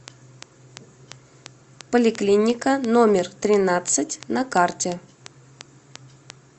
поликлиника номер тринадцать на карте